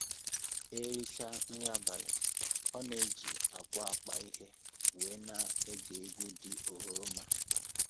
E richaa nri abalị, ọ na-eji akwa akpa ihe wee na-ege egwu dị oghoroma